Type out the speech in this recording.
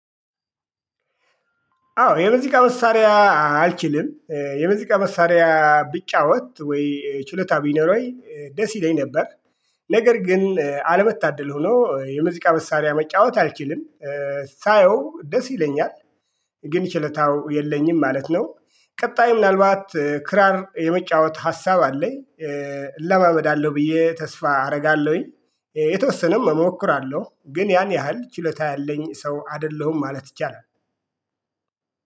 አዎ የሙዚቃ መሳሪያ አልችልም። የሙዚቃ መሳሪያ ብጫወት ወይ ችሎታ ቢኖረኝ ወይ ደስ ይለኝ ነበር ነገር ግን አለመታደል ሆኖ የሙዚቃ መሳሪያ መጫወት አልችልም አዎ የሙዚቃ መሳሪያ አልችልም የሙዚቃ መሳሪያ ቢጫወት ወይ ችሎታ ቢኖር ወይ ደስ ይለኝ ነበር ነገር ግን አልበታደል ሆኖ የሙዚቃ መሳሪያ መጫወት አልኪልም ቀጣይ ምናልባት ክራር የመጫወት ሀሳብ አለኝ እለማመዳለሁ ብዬ ተስፋ አደርጋለሁኝ የተወሰነም እሞክራለሁ ግን ያን ያህል ችሎታ ያለኝ ሰው አይደለሁም ማለት ይቻላል።